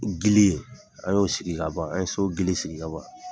Gili an y'o sigi kaban, an ye so gili sigi kaban